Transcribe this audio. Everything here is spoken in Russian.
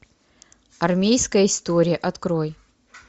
армейская история открой